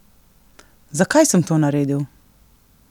Zakaj sem to naredil?